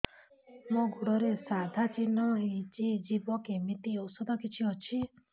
ମୋ ଗୁଡ଼ରେ ସାଧା ଚିହ୍ନ ହେଇଚି ଯିବ କେମିତି ଔଷଧ କିଛି ଅଛି